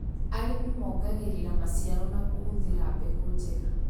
Arĩmi mongagĩrĩra maciaro na kũhũthĩra mbegũ njega